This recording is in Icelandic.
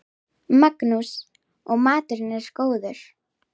Magnús: Og maturinn góður?